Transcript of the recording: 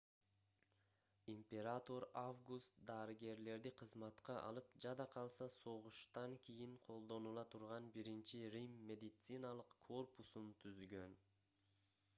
император август дарыгерлерди кызматка алып жада калса согуштан кийин колдонула турган биринчи рим медициналык корпусун түзгөн